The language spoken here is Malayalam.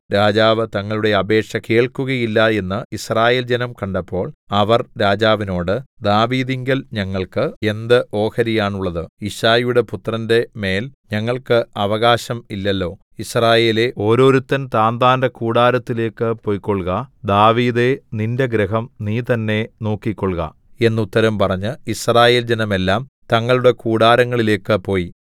രാജാവ് തങ്ങളുടെ അപേക്ഷ കേൾക്കുകയില്ല എന്ന് യിസ്രായേൽജനം കണ്ടപ്പോൾ അവർ രാജാവിനോട് ദാവീദിങ്കൽ ഞങ്ങൾക്ക് എന്ത് ഓഹരിയാണുള്ളത് യിശ്ശായിയുടെ പുത്രന്റെ മേൽ ഞങ്ങൾക്ക് അവകാശം ഇല്ലല്ലോ യിസ്രായേലേ ഓരോരുത്തൻ താന്താന്റെ കൂടാരത്തിലേക്ക് പൊയ്ക്കൊൾക ദാവീദേ നിന്റെ ഗൃഹം നീ തന്നേ നോക്കിക്കൊൾക എന്ന് ഉത്തരം പറഞ്ഞ് യിസ്രായേൽ ജനമെല്ലാം തങ്ങളുടെ കൂടാരങ്ങളിലേക്കു പോയി